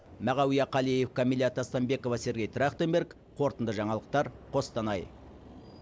мағауия қалиев камила тастанбекова сергей трахтенберг қорытынды жаңалықтар қостанай